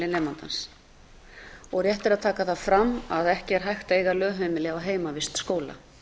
nemandans rétt er að taka það fram að ekki er hægt að eiga lögheimili á heimavist skóla